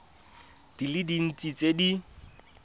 di le dintsi tse di